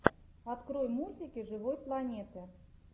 открой мультики живой планеты